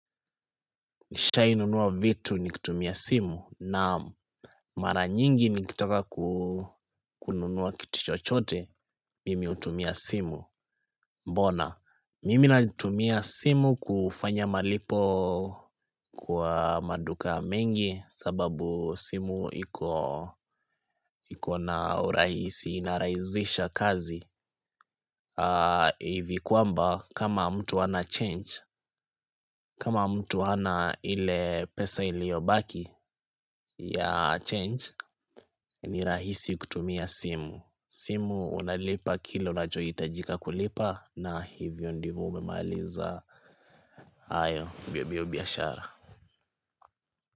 Nishahi nunua vitu nikitumia simu na mara nyingi nikitaka kununua kitu chochote mimi utumia simu mbona Mimi natumia simu kufanya malipo kwa maduka mengi sababu simu ikona urahisi inarahisisha kazi hivi kwamba kama mtu hana change kama mtu hana hile pesa iliyobaki ya change ni rahisi kutumia simu simu unalipa kilu unachohitajika kulipa na hivyo ndivyo umemaliza hayo mbiombio biashara.